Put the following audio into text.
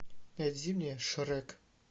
найди мне шрек